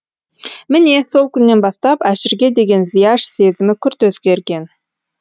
міне сол күннен бастап әшірге деген зияш сезімі күрт өзгерген